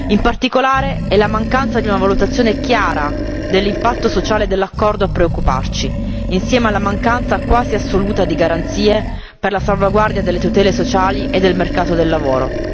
In particolare, è la mancanza di una valutazione chiara dell'impatto sociale dell'accordo a preoccuparci, insieme alla mancanza quasi assoluta di garanzie per la salvaguardia delle tutele sociali e del mercato del lavoro.